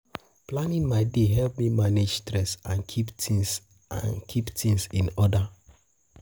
Planning my day help me manage stress and keep things and keep tings in order.